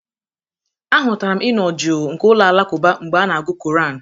Ahụtara m ịnọ jụụ nke ụlọ alakụba mgbe a na-agụ koran.